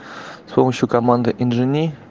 с помощью команды энджени